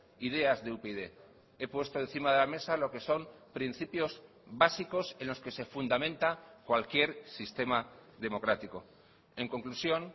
ideas de upyd he puesto encima de la mesa lo que son principios básicos en los que se fundamenta cualquier sistema democrático en conclusión